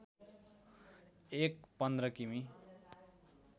एक १५ किमि